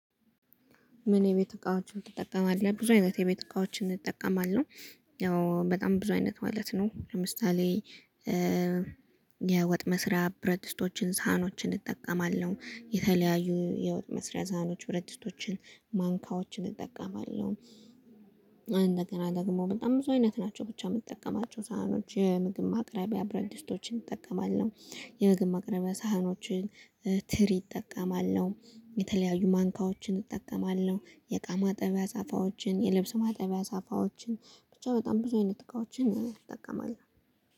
ምን የቤት እቃዎችን ትጠቀማለህ ብዙ አይነት የቤት እቃዎችን እጠቀማለሁ። ያው በጣም ብዙ አይነት ማለት ነው። ለምሳሌ የወጥ መስሪያ ብረት ድስቶችን ሳህኖችን እጠቀማለሁ። የተለያዩ የወጥ መስሪያ ሰሀኖችን ብረት ድስቶችን ማንካዎችን እጠቀማለሁ። እንደገና ደግሞ በጣም ብዙ አይነት ናቸው ብቻ የምትጠቀማቸው ሳህኖች የምግብ ማቅረቢያ ብረት ድስቶችን እንጠቀማለን። የመግብ ማቅረቢያ ሳህኖችን ትሪ እጠቀማለሁ። የተለያዩ ማንካዎችን እጠቀማለሁ። የእቃ ማጠቢያ ሳፋዎችን የልብስ ማጠቢያ ሳፋዎችን ብቻ በጣም ብዙ አይነት እቃዎችን እጠቀማለሁ